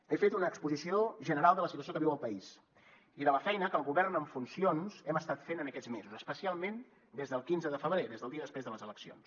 he fet una exposició general de la situació que viu el país i de la feina que el govern en funcions hem estat fent en aquests mesos especialment des del quinze de febrer des del dia després de les eleccions